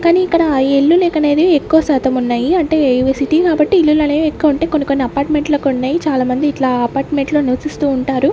కానీ ఇక్కడ ఇల్లులు కనేది ఎక్కవ శాతం ఉన్నాయి అంటే ఇవి సిటీ కాబట్టి ఇల్లులు అనేవి ఎక్కు ఉంటాయి కొన్ని కొన్ని అపార్ట్మెంట్ లెక్క ఉన్నాయి చాలా మంది ఇట్ల అపార్ట్మెంట్ లలో నివసిస్తూ ఉంటారు.